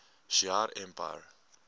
shi ar empire